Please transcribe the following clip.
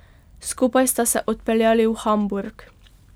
Skupaj sta se odpeljali v Hamburg.